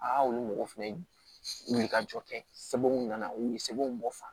Aa olu mɔgɔw fɛnɛ wuli ka jɔ kɛ sɛbɛnw nana u ye sɛbɛnw bɔfan